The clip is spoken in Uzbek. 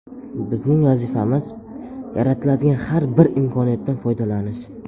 Bizning vazifamiz - yaratiladigan har bir imkoniyatdan foydalanish.